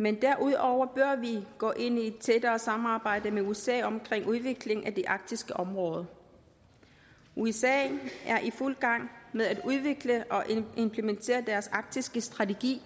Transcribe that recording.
men derudover bør vi gå ind i et tættere samarbejde med usa om udviklingen af det arktiske område usa er i fuld gang med at udvikle og implementere deres arktiske strategi